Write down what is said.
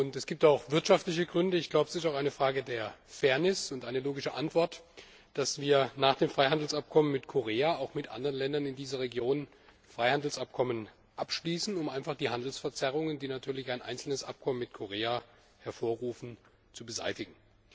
Es gibt wirtschaftliche Gründe, und es ist auch eine Frage der Fairness und eine logische Antwort, dass wir nach dem Freihandelsabkommen mit Korea auch mit anderen Ländern in dieser Region Freihandelsabkommen abschließen, um die Handelsverzerrungen, die ein einzelnes Abkommen mit Korea hervorruft, zu beseitigen.